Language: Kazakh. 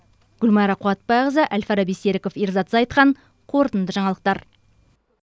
гүлмайра қуатбайқызы әл фараби серіков ерзат зайытхан қорытынды жаңалықтар